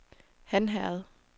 Hanherred